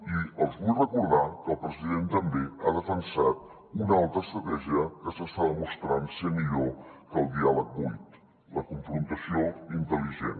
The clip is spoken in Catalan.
i els vull recordar que el president també ha defensat una altra estratègia que s’està demostrant ser millor que el diàleg buit la confrontació intel·ligent